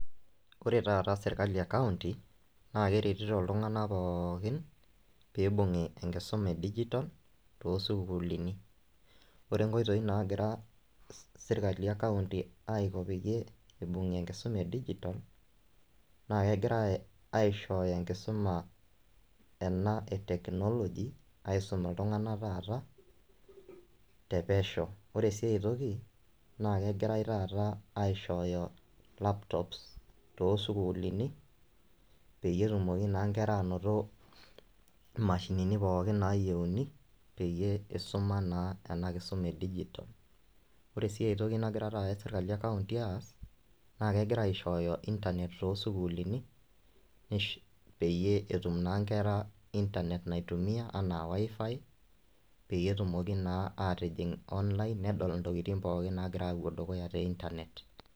Ore taata sirkali e county naa keretito iltunganak pookin pibungi enkisuma e digital too sukuulini. Ore nkoitoi nagira sirkali e county agira peyie imbengie enkisuma e digital naa kegira aishooyo enkisuma ena e technology aisum iltunganak te pesho. Ore sii ae toki naa kegirae taata aishooyo laptops toosukulini peyie etumoki naa nkera anoto mashinini pookin nayieuni peyie isuma naa ena kisuma e digital. Ore sii ae toki nagira taata sirkali e [cs[ county aas naa kegira aishooyo internet too sukuulini peyie etumoki naa nkera anoto wifi naitumia peyie etumoki naa atijing online nedol intokitin pookin nagira apuo dukuya te internet.